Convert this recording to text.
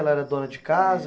Ela era dona de casa?